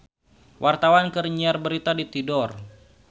Wartawan keur nyiar berita di Tidore